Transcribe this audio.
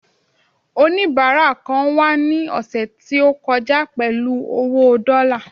onibara kan wà ni ọsẹ ti o kọjá pẹlú owo dọ́là